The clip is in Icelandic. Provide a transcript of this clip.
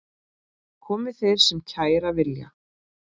Komi þeir sem kæra vilja.